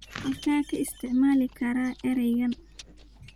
halkee ka isticmaali karaa eraygan